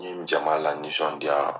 N ye jama lanisɔndiya.